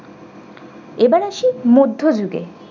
এবার আসি মধ্যযুগে